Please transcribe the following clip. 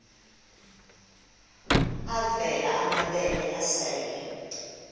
avela amabele esel